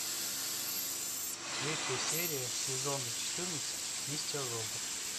третья серия сезона четырнадцать мистер робот